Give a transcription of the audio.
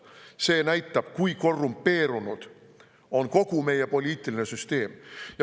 See näitaks, kui korrumpeerunud on kogu meie poliitiline süsteem.